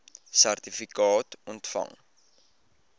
sertifikaat ontvang